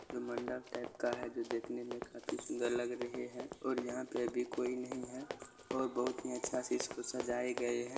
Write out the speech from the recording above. मंडप टाइप का है जो देखने में काफी सुंदर लग रही है और यहां पर अभी कोई नहीं है और बहुत ही अच्छा से इसको सजाये गए है।